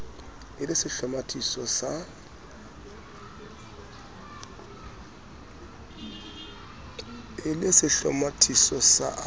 e le sehlomathiso sa a